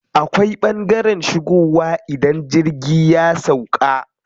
Akwai ɓangaren shigowa idan jirgi ya sauƙa.